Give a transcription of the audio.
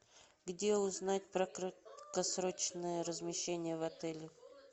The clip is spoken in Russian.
где узнать про краткосрочное размещение в отеле